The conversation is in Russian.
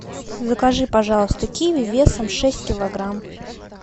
закажи пожалуйста киви весом шесть килограмм